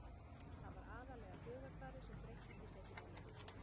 Það var aðallega hugarfarið sem breyttist í seinni hálfleik.